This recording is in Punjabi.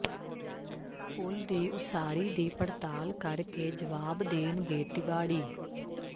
ਪੁਲ਼ ਦੀ ਉਸਾਰੀ ਦੀ ਪੜਤਾਲ ਕਰ ਕੇ ਜਵਾਬ ਦੇਣਗੇ ਤਿਵਾੜੀ